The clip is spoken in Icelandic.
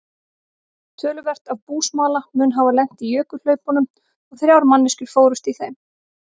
Töluvert af búsmala mun hafa lent í jökulhlaupunum og þrjár manneskjur fórust í þeim.